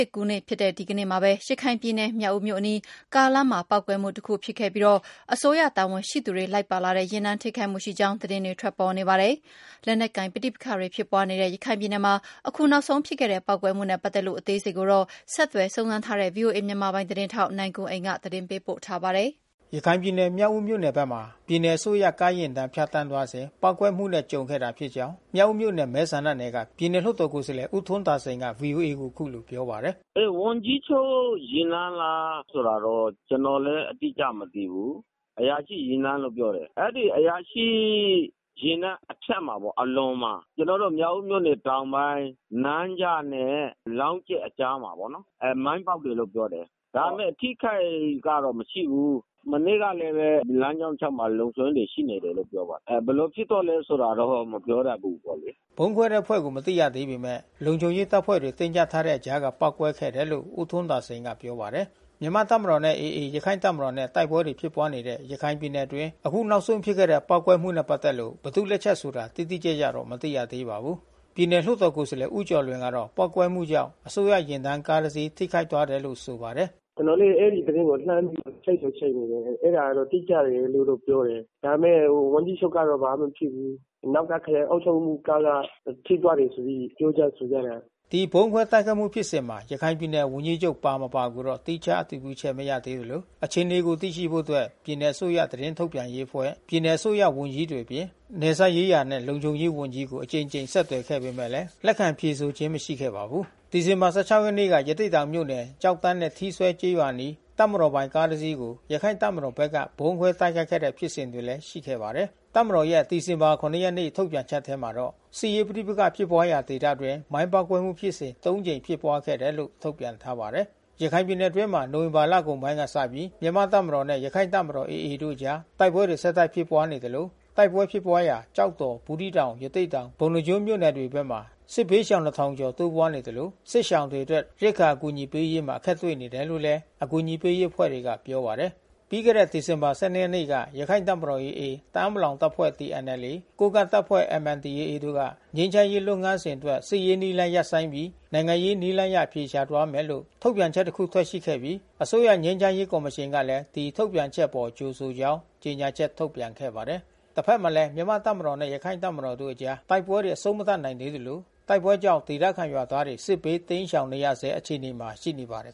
စ်ကူးနေ့ဖြစ်တဲ့ ဒီနေ့မှာပဲ ရခိုင်ပြည်နယ် မြောက်ဦးမြို့အနီး ကားလမ်းမှာ ပေါက်ကွဲမှုတခုဖြစ်ခဲ့ပြီး၊ အစိုးရတာဝန်ရှိသူတွေ လိုက်ပါလာတဲ့ ယာဉ်တန်း ထိခိုက်မှုရှိကြောင်းလည်း သတင်းတွေ ထွက်ပေါ်နေပါတယ်။ လက်နက်ကိုင် ပဋိပက္ခတွေ ဖြစ်ပွားနေတဲ့ ရခိုင်ပြည်နယ်မှာ အခုနောက်ဆုံးဖြစ်ခဲ့တဲ့ ပေါက်ကွဲမှုနဲ့ ပတ်သက်လို့ အသေးစိတ်ကိုတော့ ဆက်သွယ်စုံစမ်းထားတဲ့ ဗွီအိုအေ မြန်မာပိုင်းသတင်းထောက် နိုင်ကွမ်းအိမ်က သတင်းပေးပို့ ထားပါတယ်။ ရခိုင်ပြည်နယ်မြောက်ဦးမြို့နယ်ဘက်မှာ ပြည်နယ်အစိုးရကားယာဉ်တန်း ဖြတ်သန်းသွားစဉ် ပေါက်ကွဲမှုနဲ့ ကြုံခဲ့ရတာဖြစ်ကြောင်း မြောက်ဦး မြို့နယ် မဲဆန္ဒနယ်က ပြည်နယ်လွှတ်တော်ကိုယ်စားလှယ် ဦးထွန်းသာစိန်က ဗွီအိုအေကိုအခုလိုပြောပါတယ်။ “ဝန်ကြီးချုပ်ယာဉ်တန်းလားဆိုတာတော့ ကျွန်တော်လဲအတိအကျမသိဘူး။ အရာရှိယာဉ်တန်းလို့ပြောတယ်။ အရာရှိယာဉ်တန်းအဖြတ်မှာပေါ့။ အလွန်မှာ ကျွန်တော်တို့မြောက်ဦးမြို့နယ်တောင်ပိုင်း နန်းကျနဲ့လောင်းကြက် အကြားမှာပေါ့နော်။ မိုင်းပေါက်တယ်လို့တော့ပြောတယ်။ ဒါပေမဲ့အထိခိုက်ကတော့မရှိဘူး။ မနေ့ကလဲဘဲ လမ်း ကြောတလျှောက်မှာလုံခြုံရေးတွေရှိနေတယ်လို့ပြောပါတယ်။ ဘယ်လိုဖြစ်သွားလဲဆိုတာတော့မပြောတတ်ဘူး ပေါ့လေ။” ဗုံးခွဲတဲ့အဖွဲ့ကိုမသိရသေးပေမဲ့ လုံခြုံရေးတပ်ဖွဲ့တွေတင်းကြပ်ထားတဲ့အကြားက ပေါက်ကွဲခဲ့တယ်လို့ ဦးထွန်း သာစိန် ကပြောပါတယ်။ မြန်မာတပ်မတော်နဲ့ AA ရခိုင်တပ်မတော်နဲ့ တိုက်ပွဲတွေ ဖြစ်ပွားနေတဲ့ ရခိုင်ပြည်နယ်အတွင်း အခုနောက်ဆုံးဖြစ်ခဲ့တဲ့ ပေါက်ကွဲမှုနဲ့ ပတ်သက်လို့ ဘယ်သူ့လက်ချက်ဆိုတာ တိတိကျကျတော့ မသိရပါဘူး။ ပြည်နယ်လွှတ်တော်ကိုယ်စားလှယ်ဦးကျော်လွင်ကတော့ ပေါက်ကွဲမှုကြောင့် အရာရှိယာဉ်တန်းက ကားတစီး ထိခိုက်သွားခဲ့တယ်လို့ ဆိုပါတယ်။ “ကျွန်တော်လဲအဲဒီသတင်းကိုလှမ်းပြီးချိတ်တော့ချိတ်နေတယ်။ အဲတာကတော့တိကျတယ်လို့တော့ပြောတယ်။ ဒါပေမဲ့ဝန်ကြီးချုပ်ကတော့ဘာမှမဖြစ်ဘူး။ နောက်ကခရိုင်အုပ်ချုပ်ရေးမှူးကားက ထိသွားတယ်ဆိုပြီးပြောကြ ဆိုကြတာ။” ဒီဗုံးခွဲတိုက်ခိုက်မှုဖြစ်စဉ်မှာ ရခိုင်ပြည်နယ်ဝန်ကြီးချုပ်ပါ မပါကိုတော့ သီးခြားအတည်ပြုချက်မရသေးသလို အခြေအနေကိုသိရှိဖို့အတွက် ပြည်နယ်အစိုးရသတင်းထုတ်ပြန်ရေးအဖွဲ့ ပြည်နယ်အစိုးရဝန်ကြီးတွေအပြင် နယ်စပ်ရေးရာနှင့် လုံခြုံရေးဝန်ကြီးကို အကြိမ်ကြိမ် ဆက်သွယ်ပေမဲ့လဲ ဆက်သွယ်ခဲ့ပေမဲ့လဲ လက်ခံဖြေ ဆိုခြင်မရှိခဲ့ပါဘူး။ ဒီဇင်ဘာ(၁၆)ရက်နေ့က ရသေ့တောင်မြို့နယ် ကျောက်တန်းနဲ့ထီးစွဲကျေးရွာအနီးတပ်မတော်ပိုင်ကားတစီးကို ရခိုင်တပ်မတော်ဘက်က ဗုံးခွဲတိုက်ခိုက်ခဲ့တဲ့ဖြစ်စဉ်တွေလဲရှိခဲ့ပါတယ်။ တပ်မတော်ရဲ့ ဒီဇင်ဘာ(၇)ရက်နေ့ထုတ်ပြန်ချက်ထဲမှာတော့ စစ်ရေးပဋိပက္ခဖြစ်ပွါးရာဒေသအတွင်း မိုင်းပေါက် ကွဲမှုဖြစ်စဉ် ၃ ကြိမ်ဖြစ်ပွားခဲ့တယ်လို့ထုတ်ပြန်ထားပါတယ်။ ရခိုင်ပြည်နယ်အတွင်းမှာ နိုဝင်ဘာလကုန်ပိုင်းကစပြီး မြန်မာ့တပ်မတော်နဲ့ ရခိုင်တပ်မတော်AAတို့အကြား တိုက်ပွဲတွေဆက်တိုက်ဖြစ်ပွါးနေသလို တိုက်ပွဲဖြစ်ပွါးရာ ကျောက်တော် ဘူးသီးတောင် ရသေ့တောင် ပုဏ္ဏား ကျွန်းမြို့နယ်တွေဘက်မှာ စစ်ဘေးရှောင်(၂၀၀၀)ကျော်တိုးပွါးလာနေသလို စစ်ရှောင်တွေအတွက် ရိက္ခာ အကူညီပေးရေးမှာအခက်တွေ့နေတယ်လို့လဲ အကူညီပေးရေးအဖွဲ့တွေကပြောပါတယ်။ ပြီးခဲ့တဲ့ဒီဇင်ဘာလ၁၂ရက်နေ့ကရခိုင့်တပ်မတော်AA ၊တအာင်းပလောင်တပ်ဖွဲ့TNLA ၊ ကိုးကန့်တပ်ဖွဲ့MNDAA တို့က ငြိမ်းချမ်းရေးလုပ်ငန်းစဉ်အတွက် စစ်ရေးနည်းလမ်းရပ်ဆိုင်းပြီး နိုင်ငံရေးနည်းအရအဖြေရှာသွားမယ်လို့ထုတ်ပြန် ချက်တစ်ခု ထွက်ရှိခဲ့ပြီး အစိုးရ ငြိမ်းချမ်းရေးကော်မရှင်ကလည်း ဒီထုတ်ပြန်ချက်အပေါ် ကြိုဆိုကြောင်း ကြေညာချက် ထုတ်ပြန်ခဲ့ပါတယ်။ တဖက်မှာလဲ မြန်မာ့တပ်မတော်နဲ့ရခိုင်တပ်မတော်တို့အကြား တိုက်ပွဲတွေအဆုံးမသတ်နိုင်သေးသလို တိုက်ပွဲ ကြောင့် ဒေသခံရွာသားတွေစစ်ဘေးတိမ်းရှောင်နေရဆဲအခြေအနေမှာရှိနေပါတယ်